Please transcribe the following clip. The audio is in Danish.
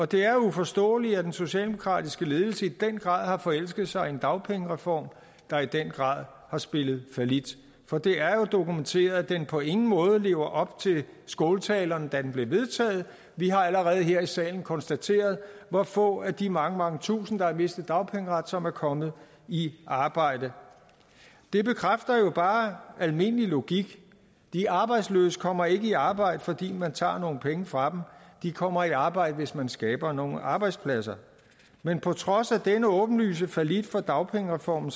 det er uforståeligt at den socialdemokratiske ledelse i den grad har forelsket sig i en dagpengereform der i den grad har spillet fallit for det er jo dokumenteret at den på ingen måde lever op til skåltalerne da den blev vedtaget vi har allerede her i salen konstateret hvor få af de mange mange tusinde der har mistet dagpengeret som er kommet i arbejde det bekræfter jo bare almindelig logik de arbejdsløse kommer ikke i arbejde fordi man tager nogle penge fra dem de kommer i arbejde hvis man skaber nogle arbejdspladser men på trods af denne åbenlyse fallit fra dagpengereformen